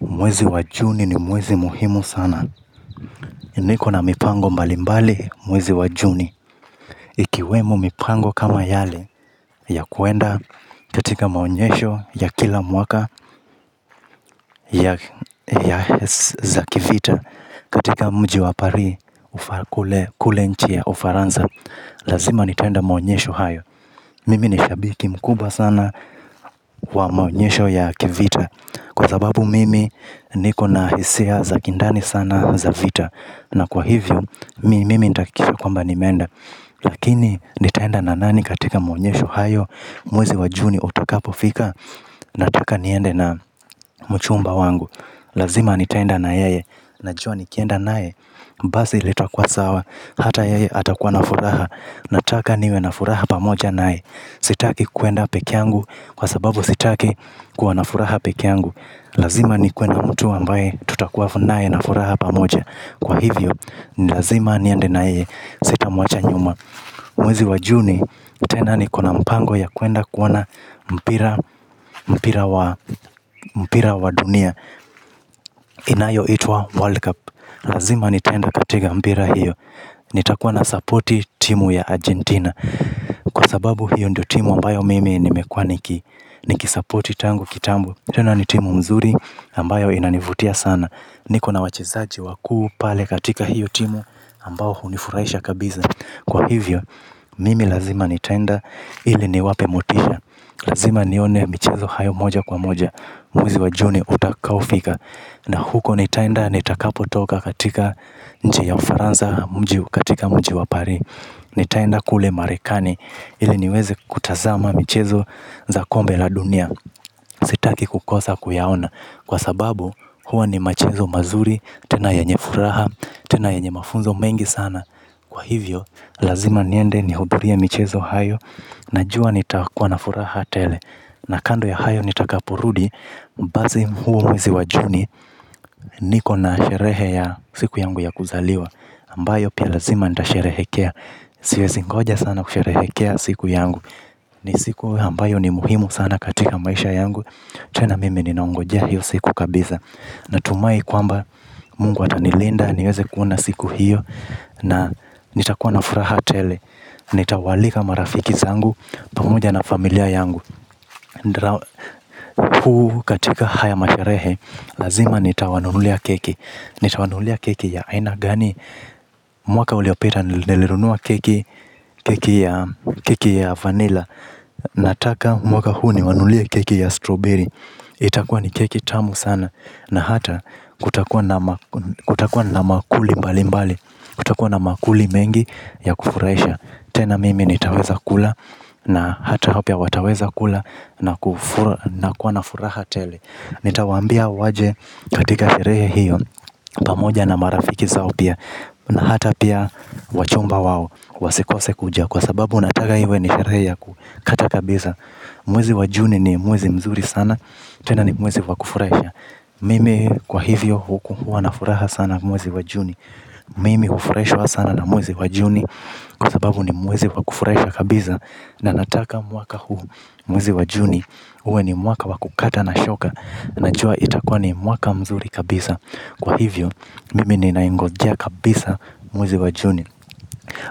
Mwezi wa juni ni mwezi muhimu sana. Niko na mipango mbalimbali mwezi wa juni. Ikiwemo mipango kama yale ya kuenda katika maonyesho ya kila mwaka. Ya za kivita. Katika mji wa Paris, kule nchi ya ufaranza. Lazima nitaenda maonyesho hayo. Mimi ni shabiki mkuba sana wa maonyesho ya kivita. Kwa sababu mimi niko na hisia za kindani sana za vita. Na kwa hivyo, mimi nitahakisha kwamba nimeenda. Lakini, nitaenda na nani katika maonyesho hayo? Mwezi wa juni utakapofika? Nataka niende na mchumba wangu. Lazima nitaenda na yeye. Najua nikienda naye, basi litakua sawa. Hata yeye atakuwa na furaha. Nataka niwe na furaha pamoja naye. Sitaki kuenda peke yangu, kwa sababu sitaki. Kuwa na furaha peke yangu. Lazima nikue na mtu ambaye tutakuwa na furaha pamoja. Kwa hivyo, ni lazima niende na yeye sitamuacha nyuma. Mwezi wa juni, tena nikona mpango ya kuenda kuona mpira, mpira wa dunia. Inaayoitwa 'world cup'. Lazima nitaenda katika mpira hio. Nitakuwa nasapoti timu ya Argentina Kwa sababu hiyo ndio timu ambayo mimi nimekua niki, nikisapoti tangu kitambo. Tena ni timu mzuri ambayo inanivutia sana. Nikona wacheilzaji wakuu pale katika hiyo timu ambao hunifuraisha kabisa. Kwa hivyo, mimi lazima nitaenda ili niwape motisha. Lazima nione michezo hiyo moja kwa moja. Mwezi wa junu utakapofika. Na huko nitaenda nitakapo toka katika nchi ya ufaransa mji, katika mji wa Paris. Nitaenda kule marekani, ile niweze kutazama michezo za kombe la dunia. Sitaki kukosa kuyaona, kwa sababu, huwa ni michezo mizuri, tena yenye furaha, tena yenye mafunzo mengi sana. Kwa hivyo, lazima niende nihudhurie michezo hiyo. Najua nitakuwa na furaha tele. Na kando ya hayo nitakaporudi basi huo mwezi wa juni, niko na sherehe ya siku yangu ya kuzaliwa, ambayo pia lazima nitasherehekea. Siwezi ngoja sana kusherehekea siku yangu. Ni siku ambayo ni muhimu sana katika maisha yangu, tena mimi ninaongojea hiyo siku kabisa. Natumai kwamba mungu atanilinda niweze kuona siku hiyo, na nitakuwa na furaha tele. Nitawaalika marafiki zaangu pamoja na familia yangu. Huu katika haya masherehe, lazima nitawanulia keki. Nitawanulia keki ya aina gani? Mwaka uliopita nilinunua keki, keki ya vanila. Nataka mwaka huu niwanunulie keki ya 'Strawberry'. Itakua ni keki tamu sana. Na hata kutakua na maakuli mbali mbali. Kutakua na maakuli mengi ya kufurahisha. Tena mimi nitaweza kula na hata wao pia wataweza kula, na kuwa na furaha tele. Nitaawambia waje katika sherehe hiyo. Pamoja na marafiki zao pia. Na hata pia wachumba wao, wasikose kuja. Kwa sababu nataka iwe ni sherehe ya kukata kabisa. Mwezi wa juni ni mwezi mzuri sana. Tena ni mwezi wa kufurahia. Mimi kwa hivyo huwa na furaha sana mwezi wa juni. Mimi hufuraishwa sana na mwezi wa Juni, kwa sababu ni mwezi wa kufuraisha kabisa, na nataka mwaka huu, mwezi wa Juni uwe ni mwaka wa kukata na shoka. Najua itakuwa ni mwaka mzuri kabisa. Kwa hivyo mimi ni naingojea kabisa mwezi wa Juni.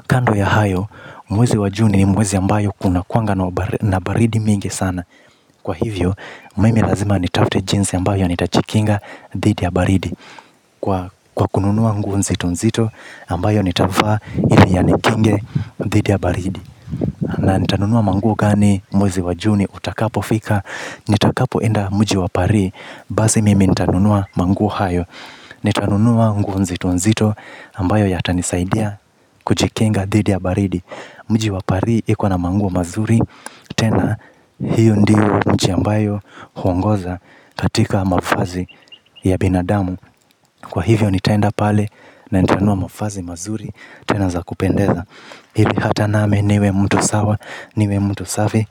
Kando ya hayo, mwezi wa Juni ni mwezi ambayo kunakuanga na baridi mingi sana. Kwa hivyo, mimi lazima nitafute jinsi ambayo nitajikinga, dhidi ya baridi. Kwa kununua nguo nzito nzito, ambayo nitavaa ili yanikinge dhidi ya baridi. Na nitanunua manguo gani mwezi wa Juni utakapofika? Nitakapo enda mji wa Paris. Basi mimi nitanunua manguo hayo. Nitanunua nguo nzito nzito ambayo yatanisaidia kujikinga dhidi ya baridi. Mji wa Paris iko na manguo mazuri, tena hiyo ndiyo mji ambayo huongoza katika mavazi ya binadamu. Kwa hivyo nitaenda pale na nitanua mavazi mazuri, tena za kupendeza. Hili hata nami niwe mtu sawa, niwe mtu safi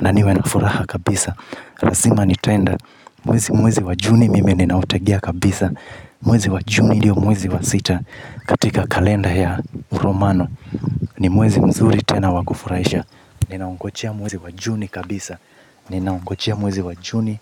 na niwe na furaha kabisa. Lazima nitaenda, mwezi wa Juni mimi ninautegea kabisa. Mwezi wa Juni ndio mwezi wa sita katika kalenda ya Uromano. Ni mwezi mzuri tena wa kufuraisha. Ninaungojea mwezi wa Juni kabisa. Ninaungojea mwezi wa juni,